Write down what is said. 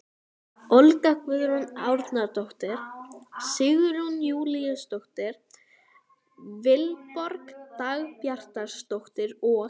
Olga Guðrún Árnadóttir, Sigrún Júlíusdóttir, Vilborg Dagbjartsdóttir og